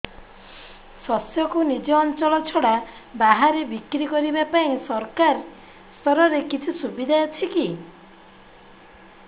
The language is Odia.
ଶସ୍ୟକୁ ନିଜ ଅଞ୍ଚଳ ଛଡା ବାହାରେ ବିକ୍ରି କରିବା ପାଇଁ ସରକାରୀ ସ୍ତରରେ କିଛି ସୁବିଧା ଅଛି କି